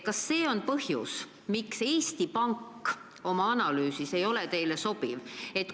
Kas see on põhjus, miks Eesti Panga analüüs teile ei sobi?